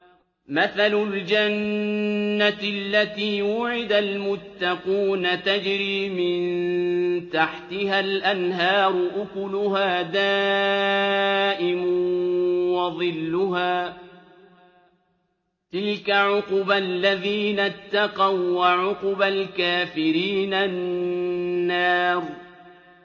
۞ مَّثَلُ الْجَنَّةِ الَّتِي وُعِدَ الْمُتَّقُونَ ۖ تَجْرِي مِن تَحْتِهَا الْأَنْهَارُ ۖ أُكُلُهَا دَائِمٌ وَظِلُّهَا ۚ تِلْكَ عُقْبَى الَّذِينَ اتَّقَوا ۖ وَّعُقْبَى الْكَافِرِينَ النَّارُ